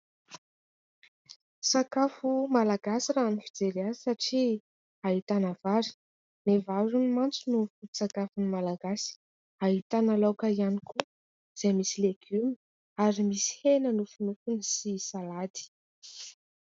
Sakafo malagasy raha ny fijery azy satria ahitana vary, ny vary hono mantsy no foto-tsakafon'ny Malagasy. Ahitana laoka ihany koa izay misy legioma ary misy hena nofonofony sy salady.